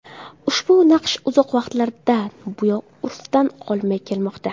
Ushbu naqsh uzoq vaqtlardan buyon urfdan qolmay kelmoqda.